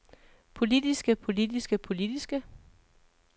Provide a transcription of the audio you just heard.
politiske politiske politiske